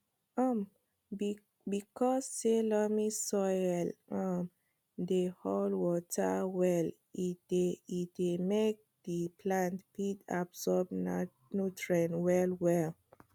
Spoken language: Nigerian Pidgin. um because say loamy soil um dey hold water well e dey e dey make the plants fit absorb nutrients well well